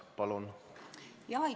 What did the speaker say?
Palun!